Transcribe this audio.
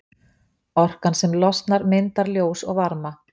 Orkan sem losnar myndar ljós og varma.